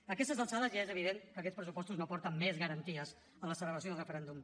a aquestes alçades ja és evident que aquests pressupostos no porten més garanties a la celebració del referèndum